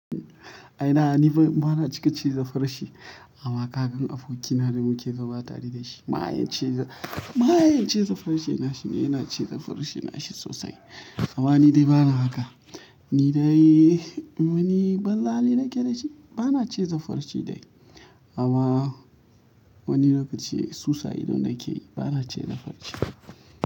A ina, ni ban, ba na cika ci zafara shi amma kaga abokina da muke zama mayen mayen cizon farshe ne yana cizon farshe nashi sosai amma ni dai bana haka. Ni dai, wani banzan hali na ke da shi, ba na cika cizan farce dai. Amma wani lokaci susa idona yakeyi bana cizon farce.